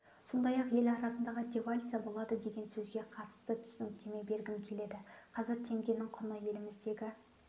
сондай-ақ ел арасындағы девальвация болады деген сөзге қатысты да түсініктеме бергім келеді қазір теңгенің құны еліміздегі